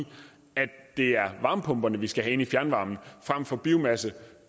at det er varmepumperne vi skal have ind i fjernvarmen frem for biomasse